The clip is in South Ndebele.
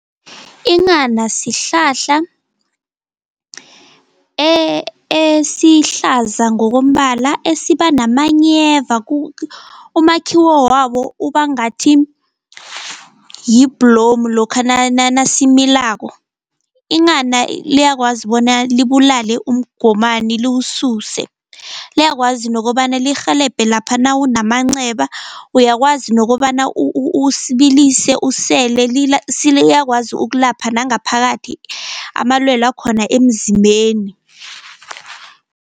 Inghana sihlahla esihlaza ngokombala esiba namanyeva umakhiwo wabo ubangathi yibhlomu lokha nasimilako. Inghana liyakwazi bona libulale umgomani liwususe, liyakwazi nokobana lirhelebhe lapha nawunamanceba uyakwazi nokobana usibilise usele, siliyakwazi ukulapha nangaphakathi amalwele akhona emzimbeni.